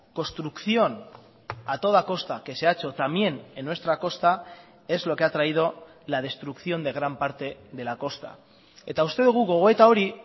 construcción a toda costa que se ha hecho también en nuestra costa es lo que ha traído la destrucción de gran parte de la costa eta uste dugu gogoeta hori